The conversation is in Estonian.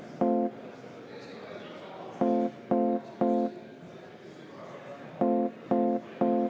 Head ametikaaslased!